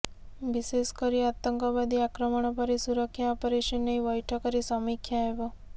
ବିଶେଷ କରି ଆତଙ୍କବାଦୀ ଆକ୍ରମଣ ପରେ ସୁରକ୍ଷା ଅପରେସନ ନେଇ ବୈଠକରେ ସମୀକ୍ଷା ହେବ